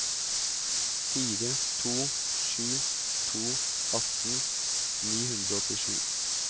fire to sju to atten ni hundre og åttisju